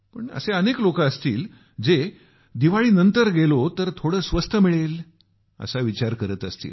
पण असे अनेक लोक असतील जे दिवाळीनंतर गेलो तर थोडे स्वस्त मिळेल असा विचार करत असतील